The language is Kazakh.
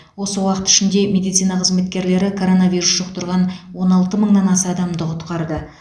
осы уақыт ішінде медицина қызметкерлері коронавирус жұқтырған он алты мыңнан аса адамды құтқарды